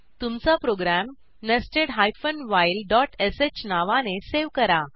तुमचा program nested while dot sh नावाने save करा